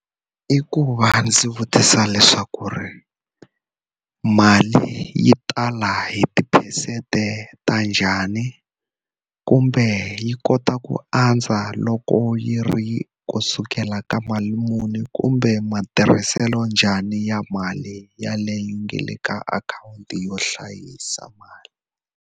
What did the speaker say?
I ku va ndzi vutisa leswaku ri mali yi tala hi tiphesente ta njhani? Kumbe yi kota ku a andza loko yi ri ku sukela ka mali muni, kumbe matirhiselo njhani ya mali yeleyo yi nge le ka akhawunti yo hlayisa mali?